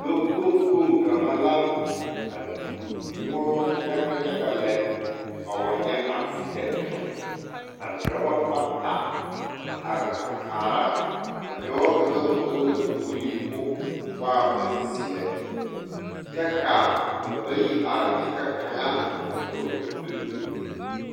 Lɔɔkpoŋ kpoŋ kaŋa la a tuo noɔmɔ yaga yaga lɛ a wa nyɛ asedɛnte ka dɔba bata a are a kaara a dɔɔ kaŋ vɔgle la kpogli k,o waa bonzeɛ kyɛ ka ba bayi are kyɛ ka kaŋa a dɔɔ gyoŋgyoŋlengyo.